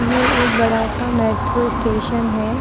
ये एक बड़ा सा मैट्रो स्टेशन है।